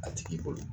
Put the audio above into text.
A tigi bolo